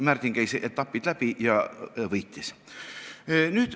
Märdin käis kohtuetapid läbi ja võitis.